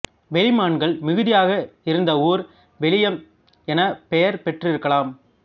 வெளிமான்கள் மிகுதியாக இருந்த ஊர் வெளியம் எனப் பெயர் பெற்றிருக்கலாம்